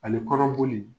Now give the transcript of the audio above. Ani kɔnɔboli